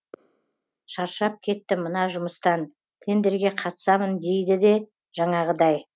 шаршап кеттім мына жұмыстан тендерге қатысамын дейді де жаңағыдай